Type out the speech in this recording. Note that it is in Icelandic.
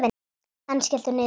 Ennið skellur niður.